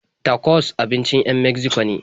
Tacos abincin 'yan Megziko ne.